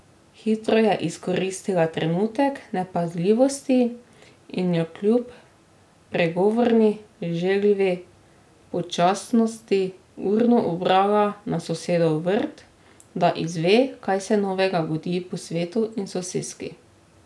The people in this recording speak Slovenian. Hitro je izkoristila trenutek nepazljivosti in jo kljub pregovorni želvji počasnosti urno ubrala na sosedov vrt, da izve, kaj se novega godi po svetu in soseski.